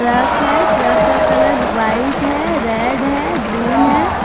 Truck है truck का colour white है रेड है ग्रीन है।